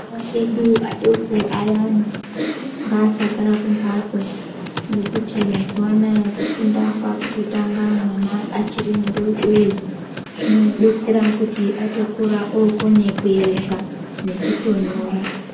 Ana edu adoko ayani ,ngasagara kumphatso. Ngekuti mazuwa anaya kufunda kwakutotanga mwana achiri mudoodori zvinodetsera kuti atokura okona kuerenga nekutonyora .